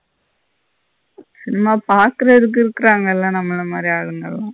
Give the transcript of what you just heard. சும்மா பாக்குறதுக்கு இருக்குறாங்கள்ள நம்மள மாறி ஆளுங்க.